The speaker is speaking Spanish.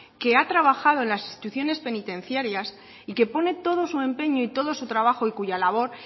que ha trabajado en las instituciones penitenciarios y que pone todo su empeño y todo su trabajo y cuya labor